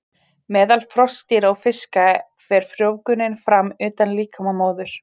Meðal froskdýra og fiska fer frjóvgunin fram utan líkama móður.